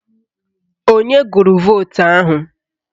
Onye gụrụ vootu ahụ?